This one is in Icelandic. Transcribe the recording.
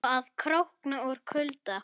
Og að krókna úr kulda.